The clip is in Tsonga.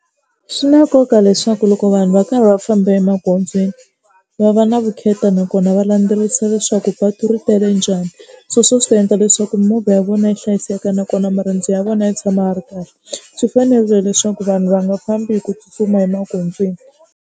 Swi na nkoka leswaku loko vanhu va karhi va famba emagondzweni va va na vukheta nakona va landzelerisa leswaku patu ri tele njhani sweswo swi endla leswaku mimovha ya vona yi hlayiseka nakona marendzo ya vona ya tshama va ri kahle. Swi fanerile leswaku vanhu va nga fambi hi ku tsutsuma emagondzweni.